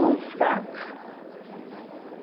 Mão fraca.